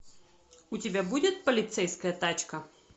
у тебя будет полицейская тачка